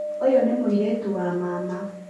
ũyũ nĩ mũirĩtu wa mama